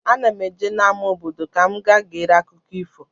Ana m eje n'ama obodo ka m gaa gere akụkọ ifo.